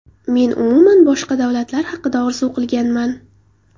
Men umuman boshqa davlatlar haqida orzu qilganman.